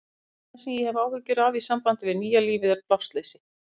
Það eina sem ég hef áhyggjur af í sambandi við nýja lífið er plássleysi.